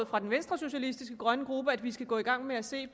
fra den venstresocialistiske grønne gruppes at vi skal gå i gang med at se